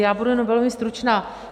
Já budu jenom velmi stručná.